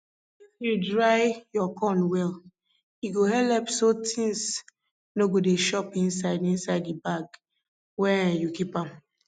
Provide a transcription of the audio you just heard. if you dry your corn well e go helep so tings no go dey chop inside inside the bag wen um you keep am